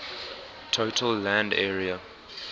total land area